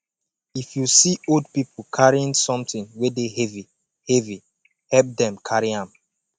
if you see old pipo carrying something wey de heavy heavy help dem carry am